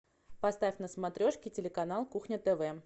поставь на смотрешке телеканал кухня тв